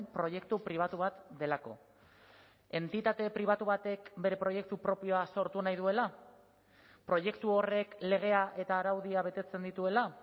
proiektu pribatu bat delako entitate pribatu batek bere proiektu propioa sortu nahi duela proiektu horrek legea eta araudia betetzen dituela